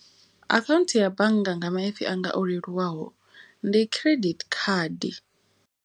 Akhaunthu ya bannga nga maipfi anga o leluwaho ndi credit card.